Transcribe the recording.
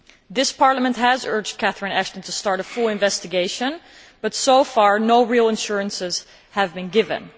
This Parliament has urged Catherine Ashton to start a full investigation but so far no real assurances have been given.